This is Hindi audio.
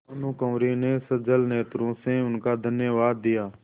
भानुकुँवरि ने सजल नेत्रों से उनको धन्यवाद दिया